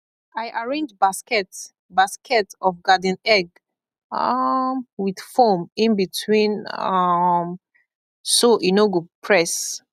i arrange basket basket of garden egg um with foam in between um so e no go press